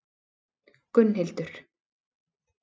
Gunnhildur